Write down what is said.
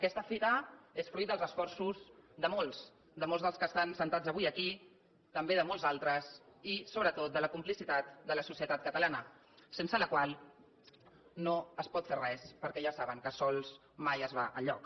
aquesta fita és fruit dels esforços de molts de molts dels que estan asseguts avui aquí també de molts altres i sobretot de la complicitat de la societat catalana sense la qual no es pot fer res perquè ja saben que sols mai es va enlloc